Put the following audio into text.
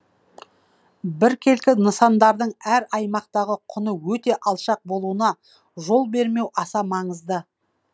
біркелкі нысандардың әр аймақтағы құны өте алшақ болуына жол бермеу аса маңызды